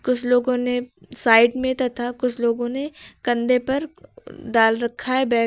कुछ लोगों ने साइड में तथा कुछ लोगों ने कंधे पर डाल रखा है बैग ।